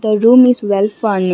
a room is well .